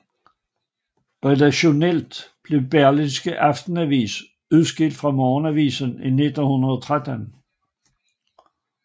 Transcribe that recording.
Redaktionelt blev Berlingske Aftenavis udskilt fra morgenavisen i 1913